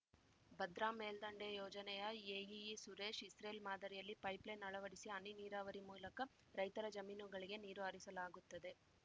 ಭದ್ರಾ ಮೇಲ್ದಂಡೆ ಯೋಜನೆಯ AEE Suresh Israel ಮಾದರಿಯಲ್ಲಿ ಪೈಪ್‌ ಲೈನ್‌ ಅಳವಡಿಸಿ ಹನಿ ನೀರಾವರಿ ಮೂಲಕ ರೈತರ ಜಮೀನುಗಳಿಗೆ ನೀರು ಹರಿಸಲಾಗುತ್ತದೆ